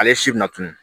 Ale si bɛna tunu